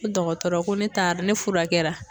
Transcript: Dɔkɔtɔrɔ ko ne taara ne furakɛra.